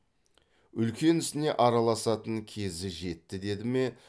үлкен ісіне араласатын кезі жетті деді ме